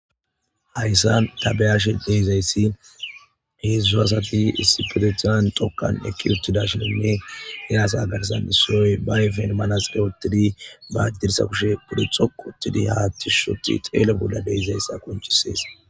Hayssan tabeyashe deyzayssin heeszudzu asati issipetethizan tokkan ekki uttida shininne iraasa agarsan issoyoy ba yfen manasqe wotidi baajdirsa kushe pude xokootidi hattishoti xeele bolla deyzayssa konchisees.